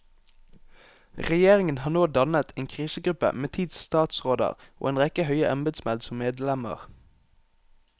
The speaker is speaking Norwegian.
Regjeringen har nå dannet en krisegruppe med ti statsråder og en rekke høye embedsmenn som medlemmer.